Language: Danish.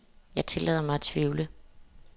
Jeg tillader mig at tvivle.